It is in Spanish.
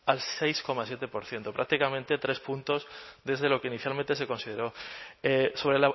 al seis coma siete por ciento prácticamente tres puntos desde lo que inicialmente se consideró sobre